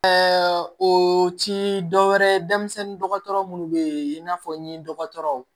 Ɛɛ o ci dɔ wɛrɛ denmisɛnnin dɔgɔtɔrɔ munnu be in n'a fɔ n ye dɔgɔtɔrɔ